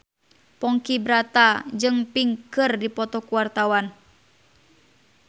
Ponky Brata jeung Pink keur dipoto ku wartawan